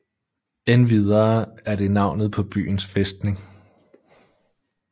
Endvidere er det navnet på byens fæstning